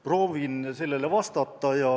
Proovin sellele vastata.